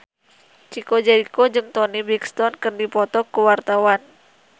Chico Jericho jeung Toni Brexton keur dipoto ku wartawan